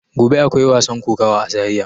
Gobe akwai wasan kokawa a zaria.